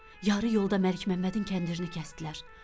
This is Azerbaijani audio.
Yarı yolda Məlik Məmmədin kəndirini kəsdilər.